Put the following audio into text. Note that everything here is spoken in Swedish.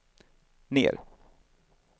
ner